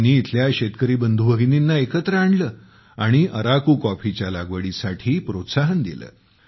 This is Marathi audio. त्यांनी इथल्या शेतकरी बंधू भगिनींना एकत्र आणले आणि अराकू कॉफीच्या लागवडीसाठी प्रोत्साहन दिले